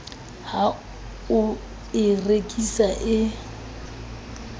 ha o e rekisa e